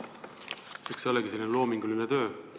Eks see olegi loominguline töö.